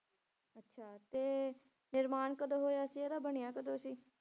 ਅੱਛਾ ਤੇ ਨਿਰਮਾਣ ਕਦੋਂ ਹੋਇਆ ਸੀ ਇਹਦਾ ਬਣਿਆ ਕਦੋਂ ਸੀ?